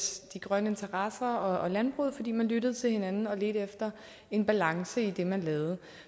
grønne interesser og landbruget fordi man lyttede til hinanden og ledte efter en balance i det man lavede